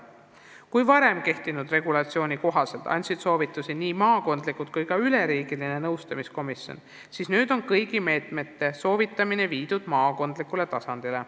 Kui varem kehtinud regulatsiooni kohaselt andsid soovitusi nii maakondlikud nõustamiskomisjonid kui ka üleriigiline komisjon, siis nüüd on kõigi meetmete soovitamine viidud maakondlikule tasandile.